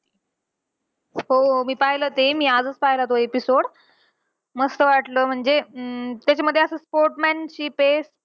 हो, मी पाहिलं ते. आजचं पाहिला तो episode. मस्त वाटलं म्हणजे अं त्याच्यामध्ये असं sportmanship आहे.